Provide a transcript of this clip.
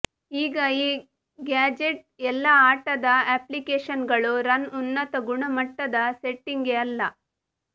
ಈಗ ಈ ಗ್ಯಾಜೆಟ್ ಎಲ್ಲಾ ಆಟದ ಅಪ್ಲಿಕೇಶನ್ಗಳು ರನ್ ಉನ್ನತ ಗುಣಮಟ್ಟದ ಸೆಟ್ಟಿಂಗ್ ಅಲ್ಲ